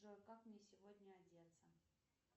джой как мне сегодня одеться